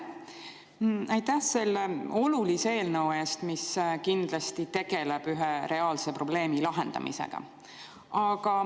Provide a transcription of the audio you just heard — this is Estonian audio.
Aitäh selle olulise eelnõu eest, mis kindlasti tegeleb ühe reaalse probleemi lahendamisega!